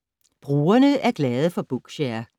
Brugerne er glade for Bookshare